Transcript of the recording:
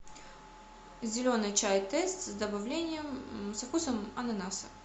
зеленый чай тесс с добавлением со вкусом ананаса